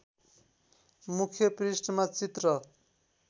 मुख्य पृष्ठमा चित्र